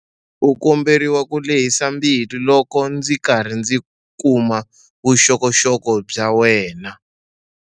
U komberiwa ku lehisa mbilu loko ndzi karhi ndzi kuma vuxokoxoko bya wena.